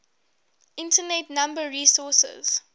internet number resources